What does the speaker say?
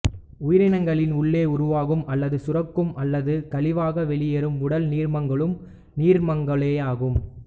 உயிரினங்களின் உள்ளே உருவாகும் அல்லது சுரக்கும் அல்லது கழிவாக வெளியேறும் உடல் நீர்மங்களும் நீர்மங்களேயாகும்